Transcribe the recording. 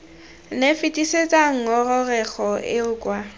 nne fetisetsa ngongorego eo kwa